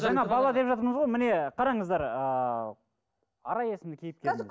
жаңа бала деп жатырмыз ғой міне қараңыздар ыыы арай есімді кейіпкеріміз